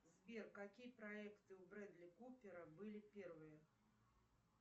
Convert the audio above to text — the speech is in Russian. сбер какие проекты у брэдли купера были первые